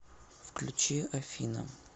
включи афина